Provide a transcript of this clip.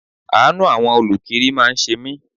Àánú àwọn olukiri máa ń ṣe mí.